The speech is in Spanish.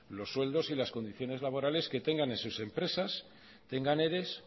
los sueldos y las condiciones laborales que tengan en sus empresas tengan eres